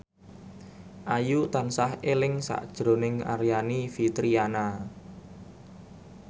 Ayu tansah eling sakjroning Aryani Fitriana